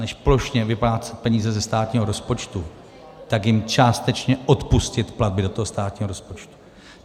Než plošně vyplácet peníze ze státního rozpočtu, tak jim částečně odpustit platby do toho státního rozpočtu.